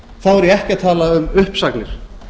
þá er ég ekki að tala um uppsagnir